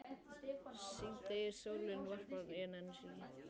Síðdegissólin varpar skuggum háhýsanna á blágrænt yfirborð árinnar.